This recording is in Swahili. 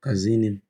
Kazini,